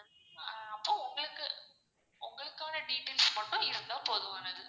ஆஹ் அப்போ உங்களுக்கு உங்களுக்கான details மட்டும் இருந்தா போதுமானது.